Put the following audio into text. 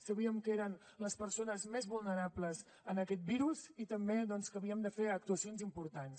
sabíem que eren les persones més vulnerables a aquest virus i també doncs que havíem de fer actuacions importants